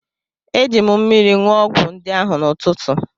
Ejiri m mmiri ṅụọ ọgwụ ndị ahụ n’ụtụtụ.